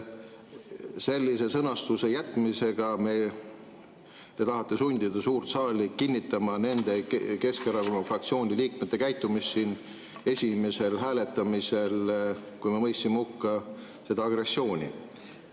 Sellise sõnastuse jätmisega te tahate sundida suurt saali kinnitama nende Keskerakonna fraktsiooni liikmete käitumist esimesel hääletamisel, kui me mõistsime selle agressiooni hukka.